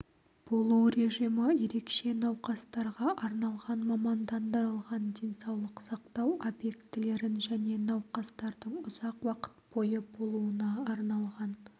болу режимі ерекше науқастарға арналған мамандандырылған денсаулық сақтау объектілерін және науқастардың ұзақ уақыт бойы болуына арналған